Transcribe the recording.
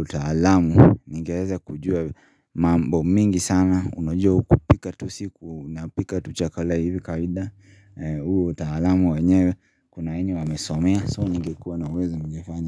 utaalamu ningeweza kujua mambo mingi sana unajua kupika tusiku unapika tu chakala hivi kawaida huu utaalamu wanyewe kuna wamesomea soo ningekua na uwezo ningefanya.